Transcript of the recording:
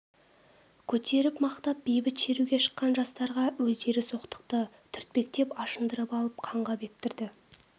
көтеріп мақтап бейбіт шеруге шыққан жастарға өздері соқтықты түртпектеп ашындырып алып қанға бөктірді